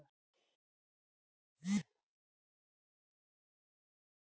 Þetta er fínt.